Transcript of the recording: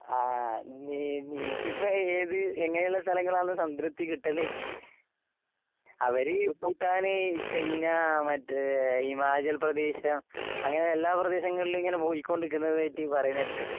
ആഹ് നീ നിനക്കിപ്പ ഏത് എങ്ങനെയ്ള്ള സ്ഥലങ്ങളാണ് സംതൃപ്തി കിട്ടല്? അവര് ഭൂട്ടാന്, ചൈന മറ്റേ ഹിമാചൽ പ്രദേശ് അങ്ങനെ എല്ലാ പ്രദേശങ്ങളിലും ഇങ്ങനെ പോയിക്കൊണ്ടിക്ക്ന്നതായിട്ട് പറയുന്ന കേട്ട്ട്ട്ണ്ട്.